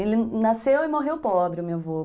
Ele nasceu e morreu pobre, o meu avô.